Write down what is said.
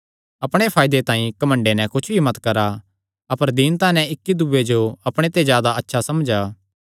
अपणे फायदे तांई कने घमंड नैं कुच्छ भी मत करा अपर दीनता नैं इक्की दूये जो अपणे ते जादा अच्छा समझा